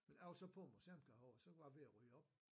Men jeg var så på museum her ovre og så var jeg ved at ryge op